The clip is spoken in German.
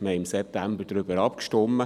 Wir stimmten im September darüber ab.